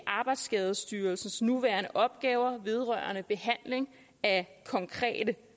arbejdsskadestyrelsens nuværende opgaver vedrørende behandling af konkrete